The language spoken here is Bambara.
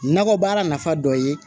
Nakɔ baara nafa dɔ ye